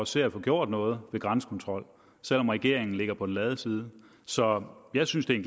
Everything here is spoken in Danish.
ser at få gjort noget ved grænsekontrol selv om regeringen ligger på den lade side så jeg synes det er